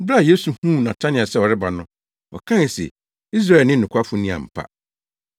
Bere a Yesu huu Natanael sɛ ɔreba no, ɔkae se, “Israelni nokwafo ni ampa.”